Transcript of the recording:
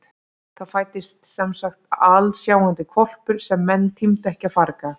Það fæddist semsagt alsjáandi hvolpur sem menn tímdu ekki að farga.